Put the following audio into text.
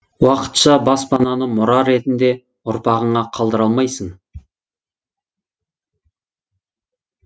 уақытша баспананы мұра ретінде ұрпағыңа қалдыра алмайсың